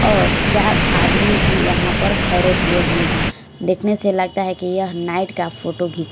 और चार आदमी भी यहां पर खड़े हुए हैं देखने से लगता है कि यह नाइट का फोटो --